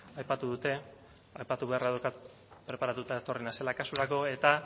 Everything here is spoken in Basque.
aipatu dute aipatu beharra daukat preparatuta etorri naizela kasurako eta